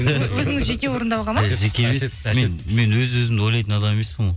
өзіңіз жеке орындауға ма мен өз өзімді ойлайтын адам емеспін ғой